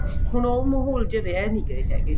ਹੁਣ ਉਹ ਮਾਹੋਲ ਜੇ ਰਹੇ ਨਹੀਂ ਗਏ ਹੈਗੇ